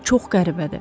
Çox qəribədir.